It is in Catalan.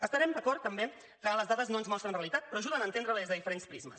estarem d’acord també que les dades no ens mostren realitat però ajuden a entendre la des de diferents prismes